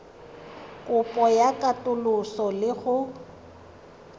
kopo ya katoloso le go